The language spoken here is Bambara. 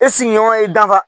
E sigiɲɔgɔn ye i danfa